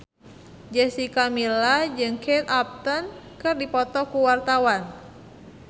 Jessica Milla jeung Kate Upton keur dipoto ku wartawan